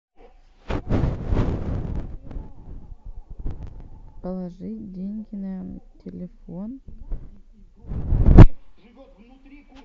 положи деньги на телефон